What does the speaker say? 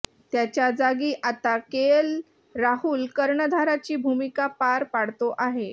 त्याच्या जागी आता केएल राहुल कर्णधाराची भूमिका पार पाडतो आहे